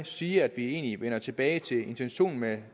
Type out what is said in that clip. sige at vi egentlig vender tilbage til intentionen med